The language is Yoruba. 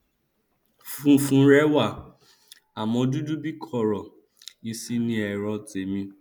funfun rẹ wà àmọ dúdú bíi kóró isin ni ẹrọ tèmi